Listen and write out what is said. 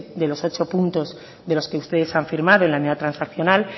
de los ochos puntos de los que ustedes han firmado en la enmienda transaccional